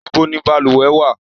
Ibo ni balùwẹ̀ wà?